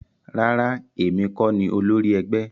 Rárá, èmi kọ ní olórí ẹgbẹ́